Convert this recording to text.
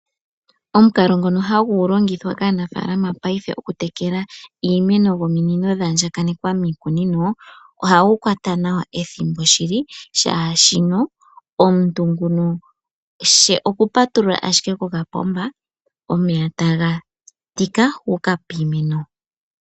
Omukalo ngono hagu longithwa kaanafalama paife okutekela iimeno nominino dha andjakanekwa miikunino, ohagu kwata nawa ethimbo shili. Shaashi omuntu nguno she okupatulula ashike ko ka pomba, omeya ta ga tika ga uka piimeno.